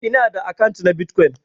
Ina da akant na Bitcoin.